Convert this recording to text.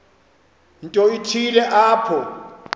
nto ithile apho